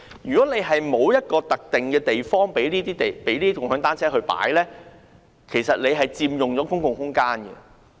如果政府沒有一個特定的地方供共享單車停泊，那些單車其實佔用了公共空間。